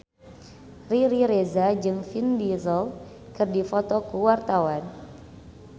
Riri Reza jeung Vin Diesel keur dipoto ku wartawan